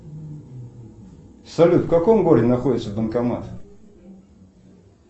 салют в каком городе находится банкомат